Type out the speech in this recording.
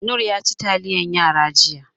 Noor yaci taliyan yara jiya.